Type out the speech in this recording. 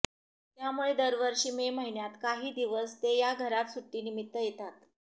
त्यामुळे दरवर्षी मे महिन्यात काही दिवस ते या घरात सुट्टीनिमित्त येतात